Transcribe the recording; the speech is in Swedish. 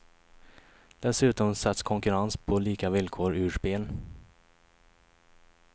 Dessutom sätts konkurrens på lika villkor ur spel.